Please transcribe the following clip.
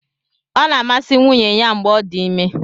Ọ na-amasị nwunye ya mgbe ọ dị ime.